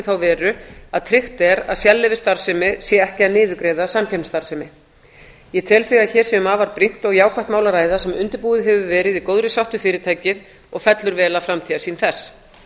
þá veru að tryggt er að sérleyfisstarfsemi sé ekki að niðurgreiða samkeppnisstarfsemi ég tel því að hér sé um afar brýnt og jákvætt mál að ræða sem undirbúið hefur verið í góðri sátt við fyrirtækið og fellur vel að framtíðarsýn þess